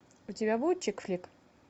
у тебя будет чикфлик